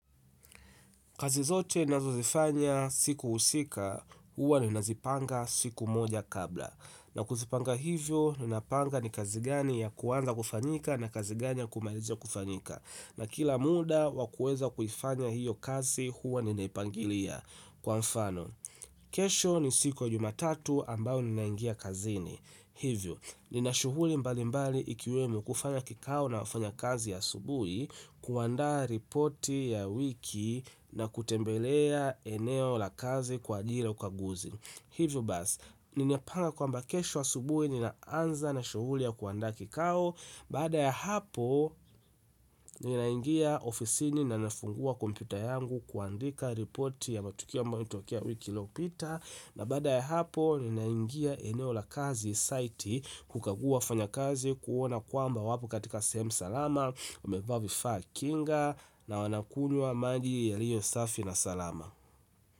Kazi zote nazozifanya siku husika, huwa nina zipanga siku moja kabla. Na kuzipanga hivyo ninapanga ni kazi gani ya kwanza kufanyika na kazi gani ya kumalizia kufanyia kumalizika na kila muda wa kuweza kufanya hiyo kazi huwa ninaipangilia kwa mfano. Kesho ni siku ya Jumatatu ambayo ninaingia kazini hivyo, nina shughuli mbali mbali ikiwemo kufanya kikao na wafanya kazi asubuhi kuandaa ripoti ya wiki na kutembelea eneo la kazi kwa ajili ya ukaguzi hivyo basi, ninapanga kwamba kesho asubuhi ninaanza na shughuli ya kuandaa kikao baada ya hapo, ninaingia ofisini na nafungua kompyuta yangu kuandika ripoti ya matukio ambayo ilitokea wiki iliopita na baada ya hapo ninaingia eneo la kazi site kukagua wafanya kazi kuona kwamba wapo katika sehemu salama wamevaa vifaa kinga na wanakunywa maji yaliyo safi na salama.